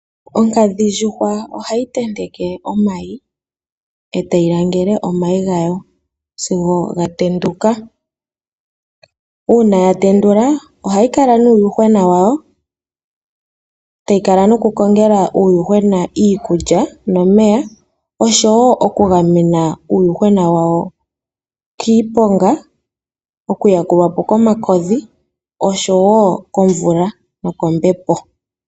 Onkadhindjuhwa ohayi tenteke omayi, etayi langele omayi gayo sigo ga tenduka. Uuna ga tenduka, ohayi kala nuuyuhwena wayo, etayi kala nokukongela uuyuhwena wayo iikulya nomeya, oshowo oku gamena uuyuhwena wayo kiiponga, oku yalulwa po komakodhi oshowo komvula nokombepo.